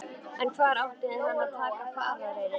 En hvar átti hann að taka farareyri?